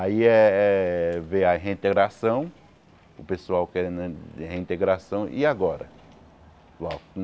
Aí eh eh veio a reintegração, o pessoal querendo a reintegração, e agora?